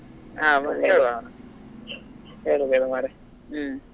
ಹಾ ಹೇಳ್ವ ಹೇಳ್ವ ಹೇಳ್ವ ಮಾರ್ರೆ.